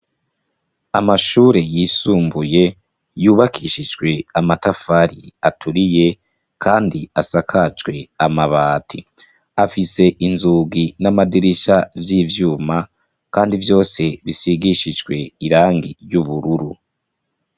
Amashure yisumbuye yubakishijwe amatafari aturiye kandi asakajwe amabati afise inzugi namadirisha vyivyuma kandi vyose bisigishijwe irangi ry’ubururu.